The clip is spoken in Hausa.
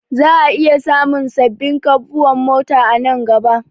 Za'a iya samun wasu sabbin kamfuwan mota a nan gaba